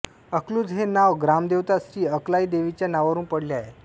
अकलूज हे नाव ग्रामदेवता श्री अकलाई देवीच्या नावावरुन पडले आहे